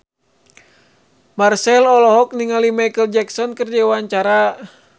Marchell olohok ningali Micheal Jackson keur diwawancara